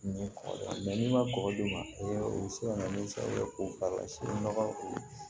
Ni kɔkɔ la n'i ma kɔkɔ dun o bi se ka na ni sababu ye k'o k'a la sini nɔgɔ don